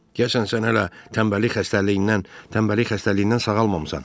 Deyəsən sən hələ tənbəllik xəstəliyindən, tənbəllik xəstəliyindən sağalmamısan.